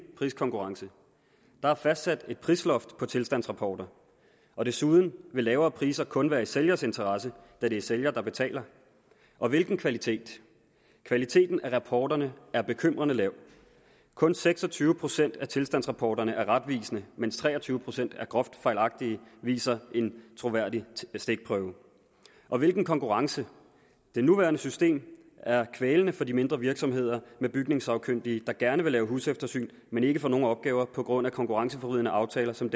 priskonkurrence der er fastsat et prisloft på tilstandsrapporter og desuden vil lavere priser kun være i sælgers interesse da det er sælger der betaler og hvilken kvalitet kvaliteten af rapporterne er bekymrende lav kun seks og tyve procent af tilstandsrapporterne er retvisende mens tre og tyve procent er groft fejlagtige det viser en troværdig stikprøve og hvilken konkurrence det nuværende system er kvælende for de mindre virksomheder med bygningssagkyndige der gerne vil lave huseftersyn men ikke får nogen opgaver på grund af konkurrenceforvridende aftaler som